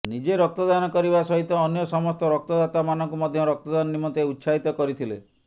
ନିଜେ ରକ୍ତଦାନ କରିବା ସହିତ ଅନ୍ୟ ସମସ୍ତ ରକ୍ତଦାତାମାନଙ୍କୁ ମଧ୍ୟ ରକ୍ତଦାନ ନିମନ୍ତେ ଉତ୍ସାହିତ କରିଥିଲେ